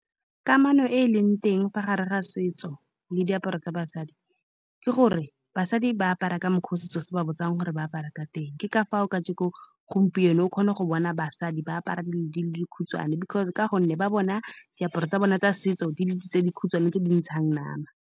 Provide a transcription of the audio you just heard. Kamano e e leng teng fa gare ga setso le diaparo tsa basadi ke gore basadi ba apara ka mokgwa o setso se ba botsang gore ba apare ka teng. Ke ka fao kajeko gompieno o kgona go bona basadi ba apara di-di-di le di khutshwane, because ka gonne ba bona diaparo tsa bone tsa setso di le di tse di khutshwane tse di ntshang nama.